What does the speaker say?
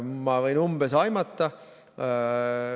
Ma võin umbes aimata.